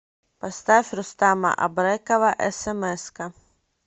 поставь рустама абрекова смска